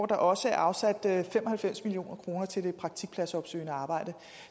der også afsat fem og halvfems million kroner til det praktikpladsopsøgende arbejde